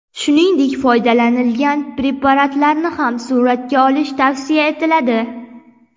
Shuningdek, foydalanilgan preparatlarni ham suratga olish tavsiya etiladi.